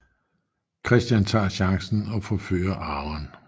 Christian tager chancen og forfører Aaron